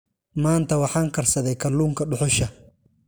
Maanta waxaan karsaday kalluunka dhuxusha.